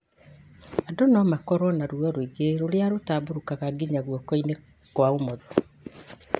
Andũ no makorũo na ruo rũingĩ rũrĩa rũtambũrũkaga nginya guoko-inĩ kwa ũmotho